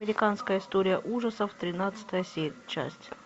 американская история ужасов тринадцатая часть